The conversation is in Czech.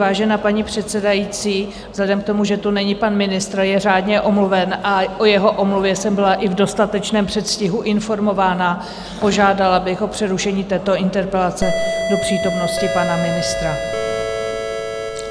Vážená paní předsedající, vzhledem k tomu, že tu není pan ministr, je řádně omluven a o jeho omluvě jsem byla i v dostatečném předstihu informována, požádala bych o přerušení této interpelace do přítomnosti pana ministra.